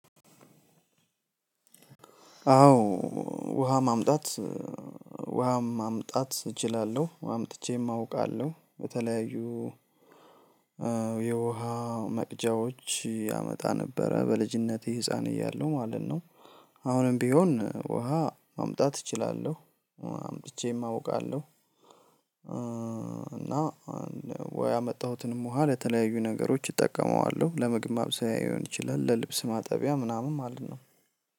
አዎ ውሃ ማምጣት ውሃ ማምጣት እችላለሁ አምጥቼም አውቃለሁ በተለያዩ የውሃ መቅጃዎች አመጣ ነበረ በልጅነቴ ህፃን እያሉ ማለት ነው። አሁንም ቢሆን ውሃ ማምጣት እችላለሁ አምጥቼም አውቃለሁ። እና ወይ ያመጣሁትንም ውሃ ለተለያዩ ነገሮች እጠቀመዋለሁ ለምግብ ማብሰያ ሊሆን ይችላል ለልብስ ማጠቢያ ምናምን ማለት ነው።